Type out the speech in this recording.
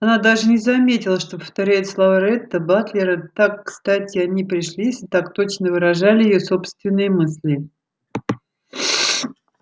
она даже не заметила что повторяет слова ретта батлера так кстати они пришлись и так точно выражали её собственные мысли